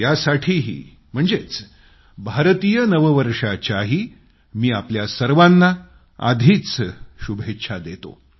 त्यासाठीही म्हणजेच भारतीय नववर्षाच्याही मी आपल्या सर्वांना आधीच शुभेच्छा देतो